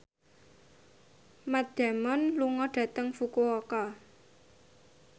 Matt Damon lunga dhateng Fukuoka